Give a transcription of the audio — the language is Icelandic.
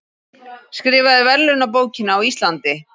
Skrifaði verðlaunabókina á Íslandi